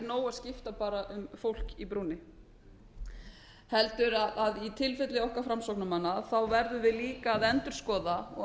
það er ekki nóg að skipta um fólk í brúnni í tilfelli okkar framsóknarmanna verðum við líka að endurskoða og